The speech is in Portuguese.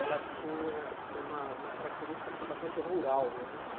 ela tinha uma uma característica assim bastante rural né.